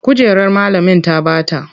Kujerar malamin ta bata.